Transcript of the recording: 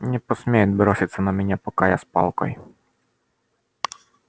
не посмеет броситься на меня пока я с палкой